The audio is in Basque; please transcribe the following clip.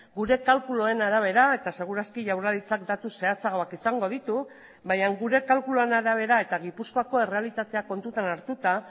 gure kalkuluen arabera eta seguraski jaurlaritzak datu zehatzagoak izango ditu baina gure kalkuluen arabera eta gipuzkoako errealitatea kontutan hartuta